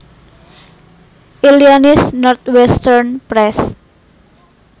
Illinois Northwestern Press